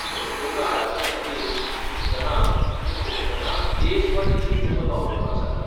संसर्ग आडावचे खातीर, शिंकतना, आनी खोंकतना लेंस वा टिश्यू पेपर वापरपाक सांगलां.